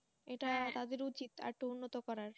তাদের উচিত আরেকটু উন্নত করার